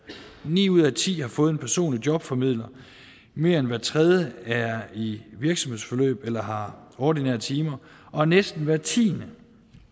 ni ud af ti har fået en personlig jobformidler mere end hver tredje er i virksomhedsforløb eller har ordinære timer og næsten hver tiende